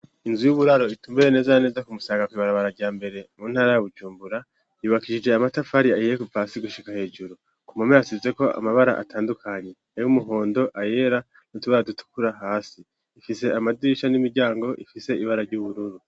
Inzu y'uburaro itumbereye neza neza ku Musaga kwibarabara rya mbere mu ntara ya Bujumbura, yubakishije amatafari ahiye kuva hasi gushika hejuru. Ku mpome hasizeko amabara atandukanye, ay'umuhondo, ayera ay' utubara dutukura hasi, ifise amadirisha n'imiryango ifise ibara ry'ubururu.